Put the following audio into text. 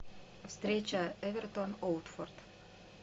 встреча эвертон уотфорд